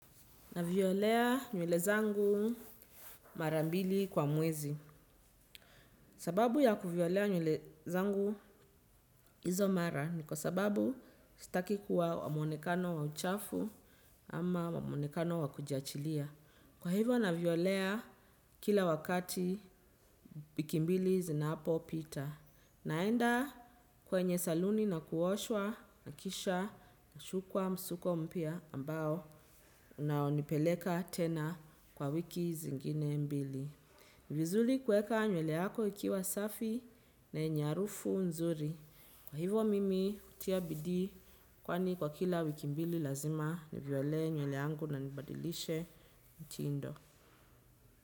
Naviolea nywele zangu mara mbili kwa mwezi. Sababu ya kuviolea nywele zangu izo mara ni kwa sababu sitakikuwa wa mwonekano wa uchafu ama wa mwonekano wakujiachilia. Kwa hivyo naviolea kila wakati wiki mbili zinapo pita. Naenda kwenye saluni na kuoshwa na kisha na shukwa msuko mpya ambao unao nipeleka tena kwa wiki zingine mbili. Ni vizuli kueka nywele yako ikiwa safi na yenye harufu nzuri. Kwa hivyo mimi hutia bidii kwani kwa kila wiki mbili lazima niviole nywele yangu na nibadilishe mtindo.